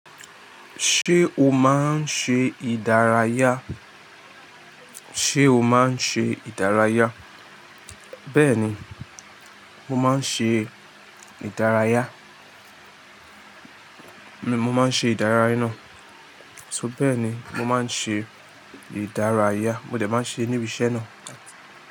Ṣé o máa ń ṣe ìdárayá? Ṣé o máa ń ṣe ìdárayá? Bẹ́ẹ̀ni, mo máa ń ṣe ìdárayá. Mo máa ń ṣe ìdárayá náà. So bẹ́ẹ̀ni mo máa ń ṣe ìdárayá. Mo de máa ń ṣe níbi iṣẹ́ náà.